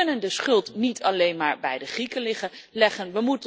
We kunnen de schuld niet alleen maar bij de Grieken leggen.